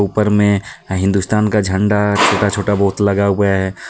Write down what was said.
ऊपर में हिंदुस्तान का झंडा छोटा छोटा बहुत लगा हुआ है।